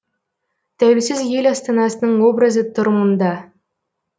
тәуелсіз ел астанасының образы тұр мұнда